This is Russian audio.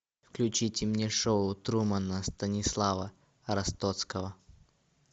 включите мне шоу трумана станислава ростоцкого